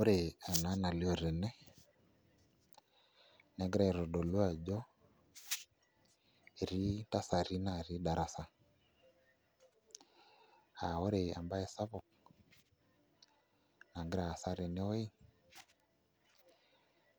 Ore ena nalioo tene negira aitodolu ajo etii ntasati naatii darasa aa ore embaye sapuk nagira aasa tenewuei